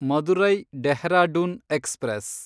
Madurai Dehradun express